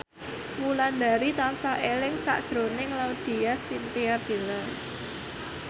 Wulandari tansah eling sakjroning Laudya Chintya Bella